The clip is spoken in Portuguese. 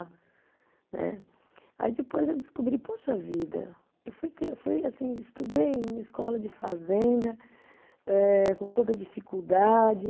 Né. Aí depois eu descobri, poxa vida, eu fui cri, eu fui assim, estudei numa escola de fazenda eh com toda dificuldade.